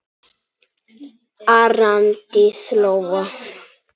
Arndís Lóa.